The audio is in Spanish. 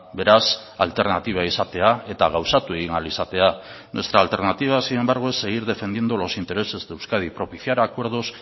beraz alternatiba izatea eta gauzatu egin ahal izatea nuestra alternativa sin embargo es seguir defendiendo los intereses de euskadi propiciar acuerdos